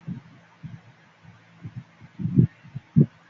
Rárá ọmọ ọdún méjìlá kò lè.